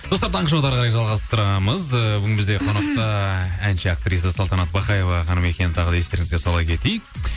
достар таңғы шоуды әрі қарай жалғастырамыз ы бүгін бізде қонақта әнші актриса салтанат бақаева ханым екенін тағы да естеріңізге сала кетейік